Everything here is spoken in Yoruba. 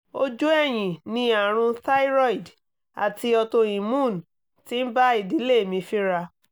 ojú ẹ̀yìn ni àrùn thyroid ati autoimmune ti ń bá ìdílé mi fínra